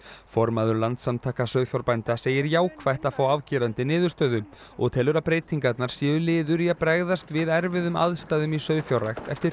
formaður Landssamtaka sauðfjárbænda segir jákvætt að fá afgerandi niðurstöðu og telur að breytingarnar séu liður í að bregðast við erfiðum aðstæðum í sauðfjárrækt eftir